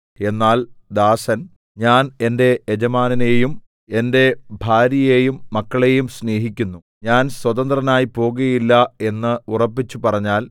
എന്നാൽ ദാസൻ ഞാൻ എന്റെ യജമാനനെയും എന്റെ ഭാര്യയെയും മക്കളെയും സ്നേഹിക്കുന്നു ഞാൻ സ്വതന്ത്രനായി പോകുകയില്ല എന്ന് ഉറപ്പിച്ച് പറഞ്ഞാൽ